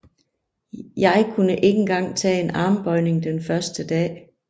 Jeg kunne ikke engang tage en armbøjning den første dag